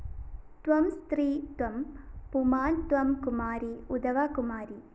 ത്വം സ്ത്രീ ത്വം പുമാന്‍ ത്വം കുമാരീ ഉതവാ കുമാരീ